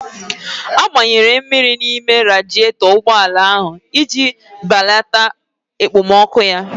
A gbanyere mmiri n'ime radietọ ụgbọala ahụ iji balata ekpomọkụ ya